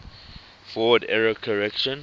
forward error correction